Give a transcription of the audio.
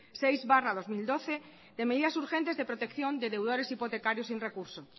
seis barra dos mil doce de medidas urgentes de protección de deudores hipotecarios sin recurso